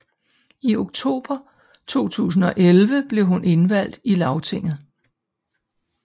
I oktober 2011 blev hun indvalgt i Lagtinget